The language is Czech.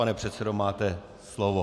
Pane předsedo, máte slovo.